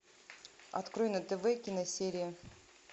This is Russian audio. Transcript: открой на тв киносерия